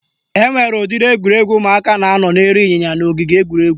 Enwere udiri egwuregwu ụmụaka na-anọ n'elu ịnyịnya n'ogige egwuregwu